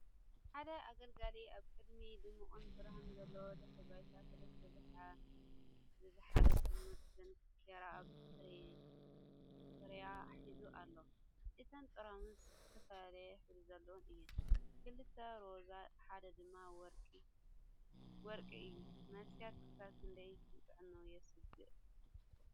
ሓደ ኣገልጋሊ ኣብ ቅድሚ ድሙቕ ብርሃን ዘለዎ ድሕረ ባይታ ሰለስተ ዝዘሓለ ጥርሙዝ ዳንኪራ ኣብ ትሬይ ሒዙ ኣሎ። እተን ጥርሙዝ ዝተፈላለየ ሕብሪ ዘለወን እየን - ክልተ ሮዛ ሓደ ድማ ወርቂ እዩ። መስተታት ክሳብ ክንደይ ንጥዕና የስግኡ?